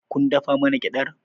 Kun dafa mana gyaɗar?